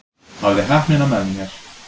Hafði heppnina með mér